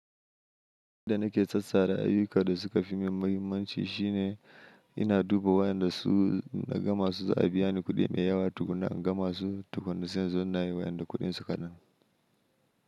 Inda na ke sassara ayyuka da suka fi min mahimmanci shine ina duba wayanda su na gama su za a biya ni kuɗi mai yawa tukuna in gama su tukuna sisan zanna yi wayanda kuɗin su kaɗan.